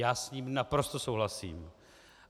Já s tím naprosto souhlasím.